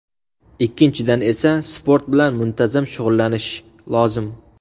Ikkinchidan esa sport bilan muntazam shug‘ullanish lozim.